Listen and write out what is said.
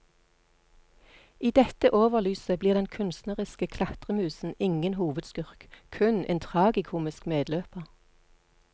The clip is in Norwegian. I dette overlyset blir den kunstneriske klatremusen ingen hovedskurk, kun en tragikomisk medløper.